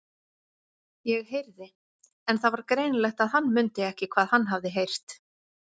ég heyrði. En það var greinilegt að hann mundi ekki hvað hann hafði heyrt.